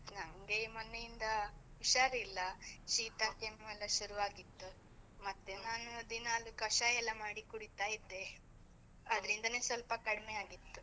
ನಂಗೆ ಮೊನ್ನೆ ಇಂದ ಹುಷಾರಿಲ್ಲ, ಶೀತ ಕೆಮ್ಮು ಎಲ್ಲ ಶುರು ಆಗಿತ್ತು, ಮತ್ತೇ ನಾನು ದಿನಾಲೂ ಕಷಾಯ ಎಲ್ಲ ಮಾಡಿ ಕುಡಿತಾ ಇದ್ದೆ, ಅದ್ರಿಂದನೆ ಸ್ವಲ್ಪ ಕಡ್ಮೆ ಆಗಿತ್ತು.